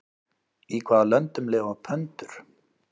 Í hvaða löndum lifa pöndur?